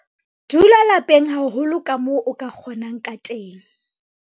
Dula lapeng haholo kamoo o ka kgonang ka teng.